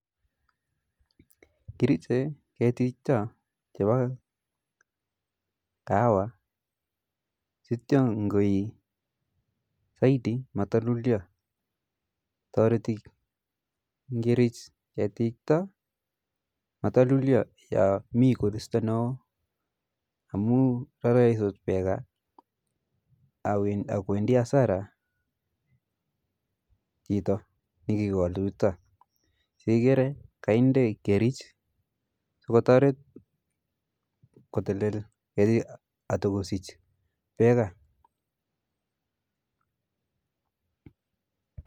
Kiriche ketik chuta chepa kahawa sisto ngoi saiti matalulya, toriti ngirich ketik chuta matulyo yomii koristo ne oo ama raraisot peka ak kwendi hasara chito ni kikol tukuk chuta si ikere kainde kerich so kotoret kotelet keti atoko sich peka